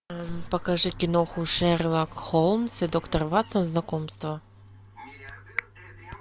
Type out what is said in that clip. покажи киноху шерлок холмс и доктор ватсон знакомство